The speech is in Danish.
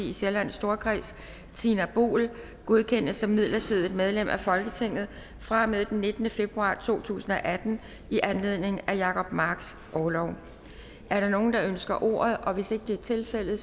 i sjællands storkreds tina boel godkendes som midlertidigt medlem af folketinget fra og med den nittende februar to tusind og atten i anledning af jacob marks orlov er der nogen der ønsker ordet hvis ikke det er tilfældet